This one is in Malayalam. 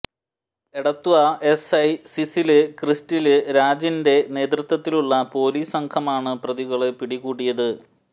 എടത്വാ എസ്ഐ സിസില് ക്രിസ്റ്റില് രാജിന്റെ നേതൃത്വത്തിലുള്ള പോലീസ് സംഘമാണ് പ്രതികളെ പിടികൂടിയത്